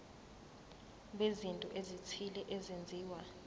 bezinto ezithile ezenziwa